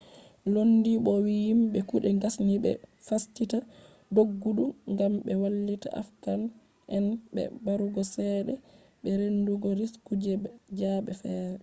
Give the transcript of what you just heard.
lodin bo'o wi'i yimbe kuɗe gasni be fasita doggudu ngam ɓe wallita afghan'en be barugo ceede be reenugo risku je zaɓe feere